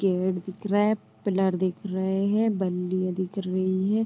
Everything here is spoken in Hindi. गेट दिख रहा है पिलर दिख रहे है बल्लिया दिख रही है।